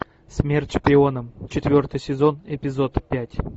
смерть шпионам четвертый сезон эпизод пять